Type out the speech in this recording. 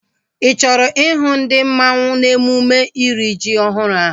Ị chọrọ ihu ndi mmanwu n'emume iri ji ọhụrụ ahu?